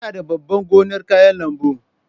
Ina da babban gonar kayan lambu.